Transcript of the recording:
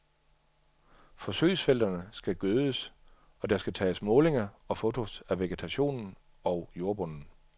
Forsøgsfelterne skal gødes, og der skal tages målinger og fotos af vegetationen og jordbunden.